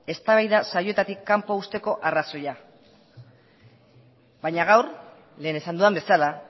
eztabaida saioetatik kanpo uzteko arrazoia baina gaur lehen esan dudan bezala